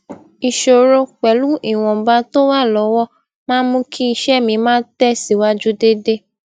isoro pelu iwonba to wa lowo maa n mú kí iṣé mi máa tè síwájú déédéé